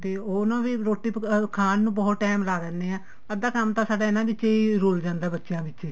ਤੇ ਉਹਨੂੰ ਵੀ ਰੋਟੀ ਪਕਾਉ ਖਾਣ ਨੂੰ ਬਹੁਤ time ਲਾ ਦਿਨੇ ਆ ਅੱਧਾ ਕੰਮ ਤਾਂ ਸਾਡਾ ਇਹਨਾ ਵਿਚ ਹੀ ਰੂਲ ਜਾਂਦਾ ਬੱਚਿਆਂ ਵਿੱਚ ਹੀ